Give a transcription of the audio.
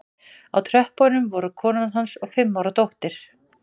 Á tröppunum voru konan hans og fimm ára dóttir